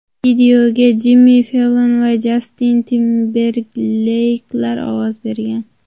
Videoga Jimmi Fellon va Jastin Timberleyklar ovoz bergan.